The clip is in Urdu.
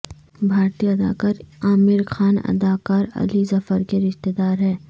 بھارتی اداکار عامرخان اداکار علی ظفرکے رشتہ دار ہیں